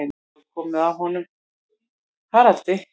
Nú er komið að honum Haraldi.